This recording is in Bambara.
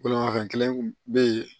Bolimafɛn kelen kun be yen